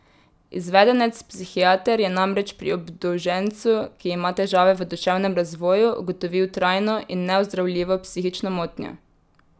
Izvedenec psihiater je namreč pri obdolžencu, ki ima težave v duševnem razvoju, ugotovil trajno in neozdravljivo psihično motnjo.